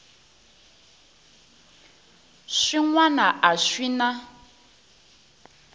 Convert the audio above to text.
swin wana a swi na